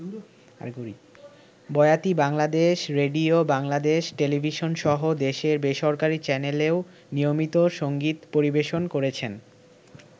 বয়াতি Bangladesh radio, Bangladesh টেলিভিশনসহ দেশের বেসরকারি চ্যানেলেও নিয়মিত সংগীত পরিবেশন করেছেন।